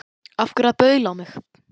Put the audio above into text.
Af hverju að baula á mig?